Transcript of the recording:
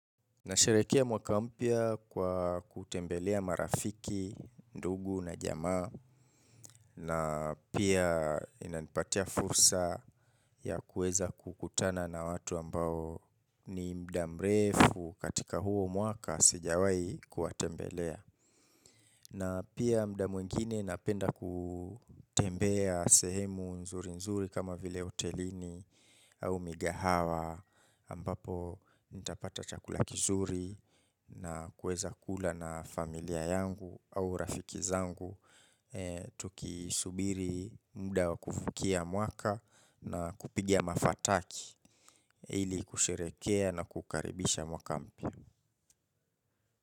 Nasharehekea mwaka mpya kwa kutembelea marafiki, ndugu na jamaa na pia inanipatia fursa ya kueza kukutana na watu ambao ni muda mrefu katika huo mwaka sijawai kuwatembelea na pia muda mwingine napenda kutembea sehemu nzuri nzuri kama vile hotelini au migahawa ambapo nitapata chakula kizuri na kueza kula na familia yangu au rafiki zangu tukiisubiri muda wa kuvukia mwaka na kupigia mafataki ili kusherehekea na kukaribisha mwakampya.